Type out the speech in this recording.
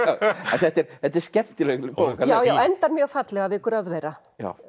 þetta er þetta er skemmtileg bók já og endar mjög fallega við gröf þeirra